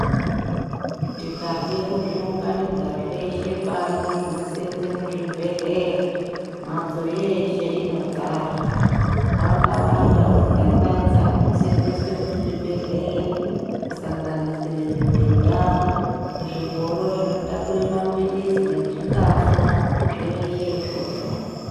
Tikade kuzviunganidza zveshe pano zvinoseenze muzvibhedhleya, mhatso yeshe inodzara. Hwakawanda hunzanzanza hunoseenzeswe muzvibhedhleya kusanganisire mibhedha, zvingoro zvinotakure maphilizi nezvikafu zveshe izvozvo.